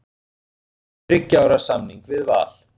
Hún gerir þriggja ára samning við Val.